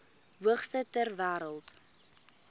hoogste ter wêreld